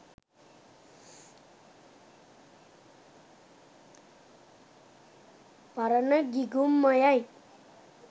පරණ ගිගුම් ම යි.